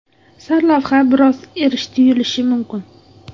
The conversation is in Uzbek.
Sarlavha biroz erish tuyulishi mumkin.